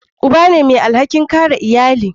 Uba ne mai alhakin kare iyali.